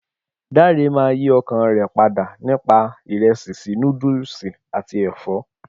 Dare máa yìí ọkàn rè padà nípa ìresì síí noodlesi àti èfọ́.